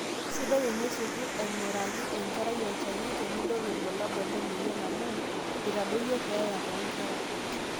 sidai enisioki aing'uraki enkerai olchani tenidol ilbulabul lemweyian amu eitadoyio keeya toonkera